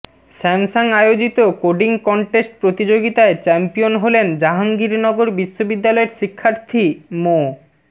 Samsung আয়োজিত coding contest প্রতিযোগিতায় champion হলেন জাহাঙ্গীরনগর বিশ্ববিদ্যালয়ের শিক্ষার্থী মো